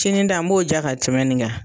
Sini ta ni b'o ja ka tɛmɛn nin kan